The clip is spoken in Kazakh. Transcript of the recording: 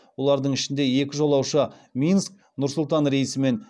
олардың ішінде екі жолаушы минск нұр сұлтан рейсімен